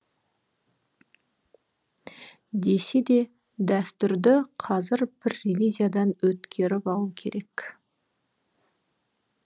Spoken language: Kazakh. десе де дәстүрді қазір бір ревизиядан өткеріп алу керек